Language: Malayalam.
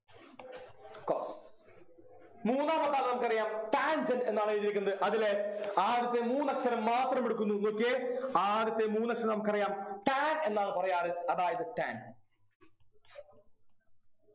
cos മൂന്നാമത്തെ നമുക്കറിയാം Tangent എന്നാണ് എഴുതിയിരിക്കുന്നത് അതില് ആദ്യത്തെ മൂന്നക്ഷരം മാത്രമെടുക്കുന്നു നോക്കിയേ ആദ്യത്തെ മൂന്നക്ഷരം നമുക്കറിയാം tan എന്നാണ് പറയാറ് അതായത് tan